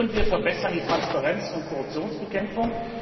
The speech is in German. Wir verbessern die Transparenz und Korruptionsbekämpfung.